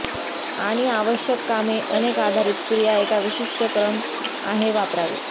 आणि आवश्यक कामे अनेक आधारित क्रिया एका विशिष्ट क्रम आहे वापरावे